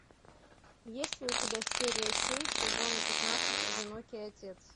есть ли у тебя серия семь сезона пятнадцать одинокий отец